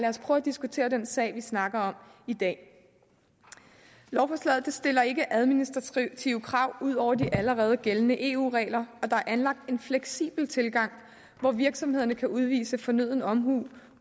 os prøve at diskutere den sag vi snakker om i dag lovforslaget stiller ikke administrative krav ud over de allerede gældende eu regler og der er anlagt en fleksibel tilgang hvor virksomhederne kan udvise fornøden omhu